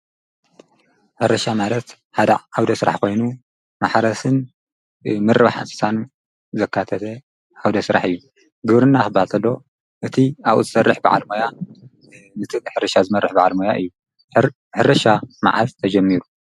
ሕርሻ ማለት ሓደ ዓውደ ሥራሕ ኾይኑ ማሕረስን ምርባሕ እንስሳን ዘካተተ ዓውደ ሥራሕ እዩ ። ግብርና ኽብሃል ከሎ እቲ ኣብኡ ዝሠርሕ ብዓል ሞያ ነቲ ሕርሻ ዝመርሕ በዓል ሞያ እዩ። ሕርሻ መዓዝተጀሚሩ?